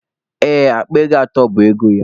Ee, akpa ego atọ bụ ego ya.